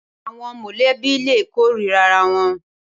Awòn mòlèbí lé kórìrâ àrá wòn